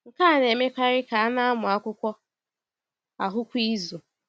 Nke a na-emekarị ka a na-amụ akwụkwọ ahụ kwa izu.